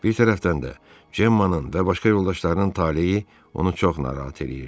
Bir tərəfdən də Gemmanın və başqa yoldaşlarının taleyi onu çox narahat eləyirdi.